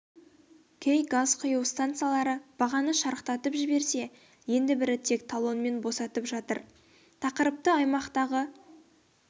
кей газ құю стансалары бағаны шарықтатып жіберсе енді бірі тек талонмен босатып жатыр тақырыпты аймақтағы